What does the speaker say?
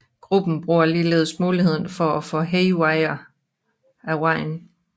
Gruppen bruger ligeledes muligheden for at få Haywire af vejen